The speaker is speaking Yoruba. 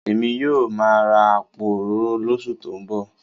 Èmi yóò máa ra àpò òróró lóṣù tó ń bọ̀